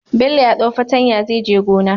Bello ya dau fatanya zai je gona